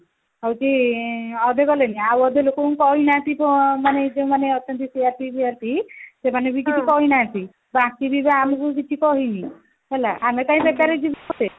ହଉଛି ଆଁ ଆଉ ଅଧେ ଗଲେନି ଆଉ ଅଧେ ଲୋକଙ୍କୁ କହିନାହାନ୍ତି ତ ମାନେ ଯୋଉ ମାନେ ଅଛନ୍ତି CRP ଫିଆରପି ସେମାନେ ବି କିଛି କହି ନାହାନ୍ତି ଆମକୁ କିଛି କହିନି ହେଲା ଆମେ କାଇଁ ବେକାର ଯିବୁ